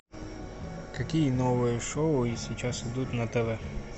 какие новые шоу сейчас идут на тв